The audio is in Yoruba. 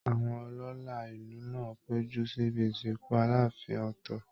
Àwọn ọlọ́la ìlú náà péjú síbi ìsìnkú Aláàfin Ọ̀tọ́